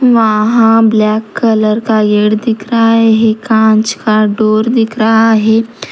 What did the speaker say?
वहां black colour का gate दिख रहा है कांच का डोर दिख रहा है।